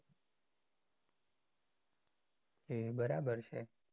એ બરાબર છે.